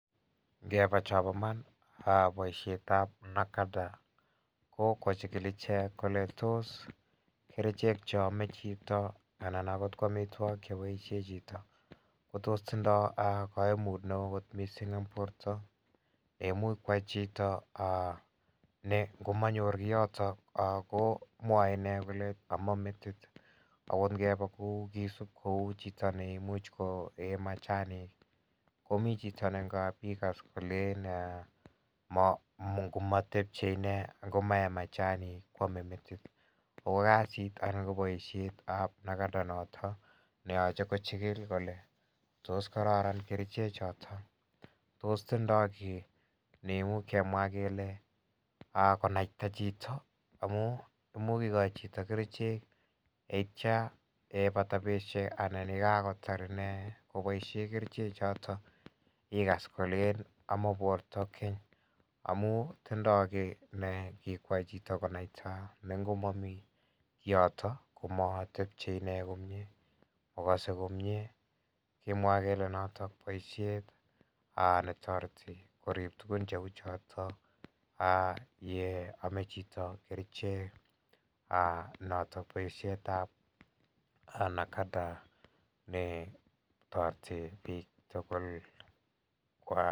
Ingeba chon bo iman ko ng'alekab NACADA ko kochigil kerichek cheame chito anan akot tos tindoo kaimutiet neoo en borto ne ngo manyor Kioto komwae ine kole aman metit kouu chito neimuch koee machanik komi chito ne ngap ikas kole en ingomae machanik koeme metit. Ko kasit tab nagata noto nechikili tos kararan kerichek choton tos tindoo ki neuu kemwa kele konaita chito amu kikoi chito kerichek yeitia yekakobar inee kobaishien kerichek choton igas kolen amon borta amuun tindoo ki nekiko naita Kioto komagase komie. Kemwae kele boisiet netareti korib tugun choton ak ye ame chito kerichek ko boishet tab nagata ne toreti bik tugul koam.